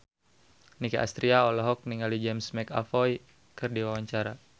Nicky Astria olohok ningali James McAvoy keur diwawancara